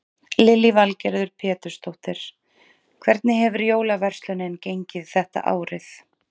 Lillý Valgerður Pétursdóttir: Hvernig hefur jólaverslunin gengið þetta árið?